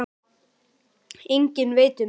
Enginn veit um þau.